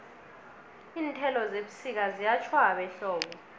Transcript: iinthelo zebusika ziyatjhwaba ehlobo